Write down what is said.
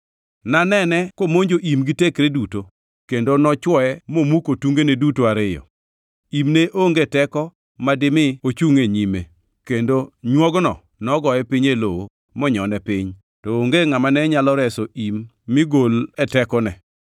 Nanene komonjo im gi tekre duto, kendo nochwoye momuko tungene duto ariyo. Im ne onge teko ma dimi ochungʼ e nyime kendo nywogno nogoye piny e lowo monyone piny, to onge ngʼama ne nyalo reso im mi gol e tekone.